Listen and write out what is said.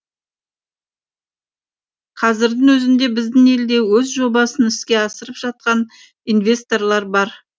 қазірдің өзінде біздің елде өз жобасын іске асырып жатқан инвесторлар бар